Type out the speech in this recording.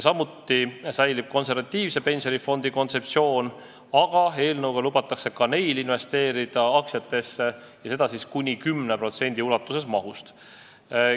Samuti säilib konservatiivse pensionifondi kontseptsioon, aga eelnõuga lubatakse ka neil fondidel investeerida aktsiatesse ja teha seda kuni 10% ulatuses mahust.